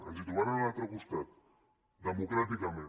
ens trobaran a l’altre costat democràticament